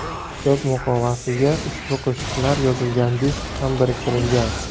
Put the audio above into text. Kitob muqovasiga ushbu qo‘shiqlar yozilgan disk ham biriktirilgan.